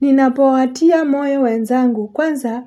Ninapowatia moyo wenzangu. Kwanza,